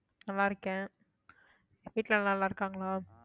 நல்லா இருக்கேன் வீட்ல எல்லாரும் நல்லா இருக்காங்களா